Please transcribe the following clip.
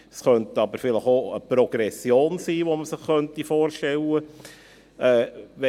Es könnte aber vielleicht auch eine Progression sein, die man sich vorstellen könnte.